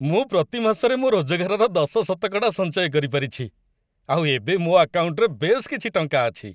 ମୁଁ ପ୍ରତି ମାସରେ ମୋ' ରୋଜଗାରର ଦଶ ଶତକଡ଼ା ସଞ୍ଚୟ କରିପାରିଛି ଆଉ ଏବେ ମୋ ଆକାଉଣ୍ଟ୍‌ରେ ବେଶ୍ କିଛି ଟଙ୍କା ଅଛି ।